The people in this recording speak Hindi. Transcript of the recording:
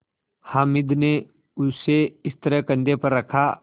हामिद ने उसे इस तरह कंधे पर रखा